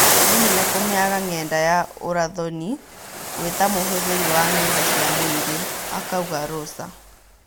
"Nĩhinya kũmĩaga Ng'enda ya ũrathoni wĩtamũhũthĩri wa ng'enda cia mũingĩ," akauga Rosa.